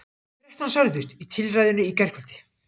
Þrettán særðust í tilræðinu í gærkvöldi